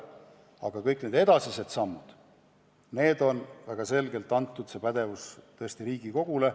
Aga kõik edasised sammud, pädevus neid teha on väga selgelt antud Riigikogule.